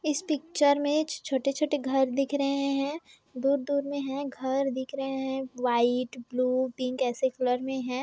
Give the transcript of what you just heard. इस पिक्चर में छोटे-छोटे घर दिख रहें हैं दूर-दूर में हैं घर दिख रहें हैं व्हाइट ब्लू पिंक ऐसे कलर में हैं।